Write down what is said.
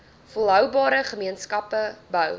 volhoubare gemeenskappe bou